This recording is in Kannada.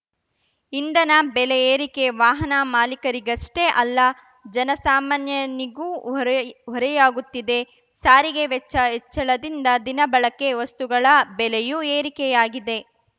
ಇಂಧನ ಬೆಲೆ ಏರಿಕೆ ವಾಹನ ಮಾಲಿಕರಿಗಷ್ಟೇ ಅಲ್ಲ ಜನ ಸಾಮಾನ್ಯನಿಗೂ ಹೊರೆಹೊರೆಯಾಗುತ್ತಿದೆ ಸಾರಿಗೆ ವೆಚ್ಚ ಹೆಚ್ಚಳದಿಂದ ದಿನಬಳಕೆ ವಸ್ತುಗಳ ಬೆಲೆಯೂ ಏರಿಕೆಯಾಗಿದೆ